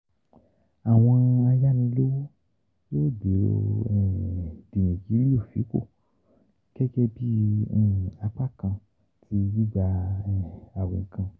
àwọn ayanilowo yoo gẹ́gẹ́ bí um apákan ti gbigba um àwọn nǹkan.